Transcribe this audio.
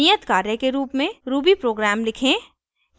नियत कार्य के रूप में: ruby प्रोग्राम लिखें :